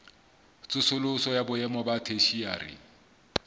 tsosoloso ya boemo ba theshiari